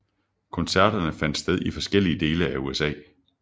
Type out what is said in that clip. Koncerterne fandt sted i forskellige dele af USA